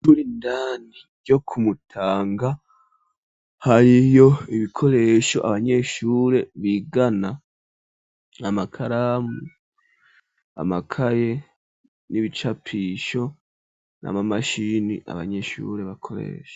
iyshuri indani ryo ku Mutanga hariyo ibikoresho abanyeshure bigana amakaramu amakaye n'ibicapisho n'amamashini abanyeshure bakoresho.